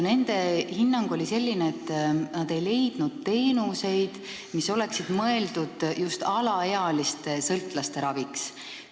Nende hinnang oli selline, et nad ei ole leidnud teenuseid, mis oleksid mõeldud just alaealiste sõltlaste raviks.